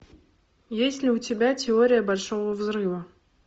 есть ли у тебя теория большого взрыва